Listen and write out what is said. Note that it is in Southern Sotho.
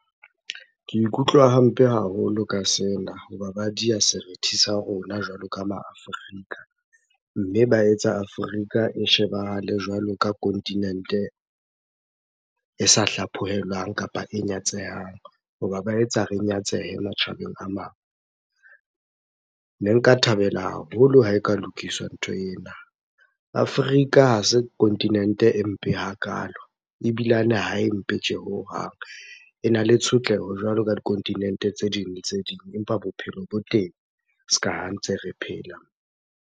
Ke ikutlwa hampe haholo ka sena, hoba ba diha serithi sa rona jwalo ka ma Afrika. Mme ba etsa Afrika e shebahale jwalo ka continent-e e sa hlaphohelwang kapa e nyatsehang. Hoba ba etsa re nyatsehe matjhabeng a mang. Ne nka thabela haholo ha e ka lokiswa ntho ena. Afrika ha se continent-e e mpe hakalo, ebilane ha e mpe tje hohang. Ena le tshotleho jwalo ka di-continent-e tse ding le tse ding. Empa bophelo bo teng, ska ha ntse re phela.